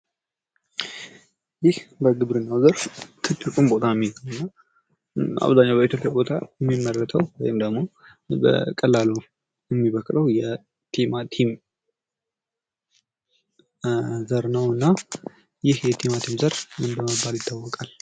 ይህ በግብርና ዘርፍ ትልቅ ቦታ የሚይዘው በእብዝኅኛው በኢትዮጵያ የሚመረተው ደግሞ በቀላሉ የሚበቅል ቲማቲም ነው። እና ይህ የቲማቲም ዘር ምን በመባል ይታወቃል?